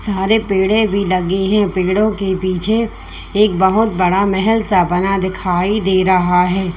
सारे पेड़े भी लगी है पेड़ों के पीछे एक बहुत बड़ा महल सा बना दिखाई दे रहा है।